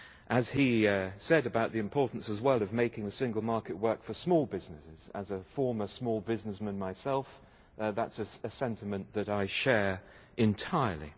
As he said about the importance as well of making the single market work for small businesses, as a former small businessman myself, that's a sentiment that I share entirely.